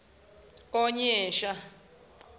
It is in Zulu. onyesha